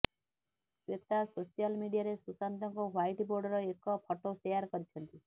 Shweta social ମିଡିଆରେ ସୁଶାନ୍ତଙ୍କ ହ୍ବାଇଟବୋର୍ଡ଼ର ଏକ ଫଟୋ ସେୟାର କରିଛନ୍ତି